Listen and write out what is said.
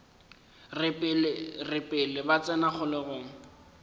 re pele ba tsena kgolegong